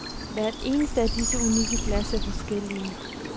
Hvert eneste af disse unikke glas er forskellige.